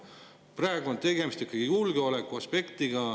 Praegu on tegemist ikkagi julgeolekuaspektiga.